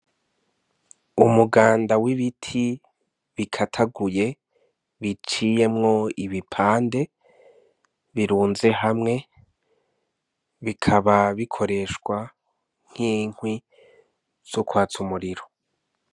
Umuganda w'ibiti bikataguye biciyemwo ibipande birunze hamwe bikaba bikoreshwa nk'inkwi zokwatsa umuriro.